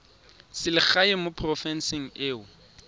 selegae mo porofenseng e o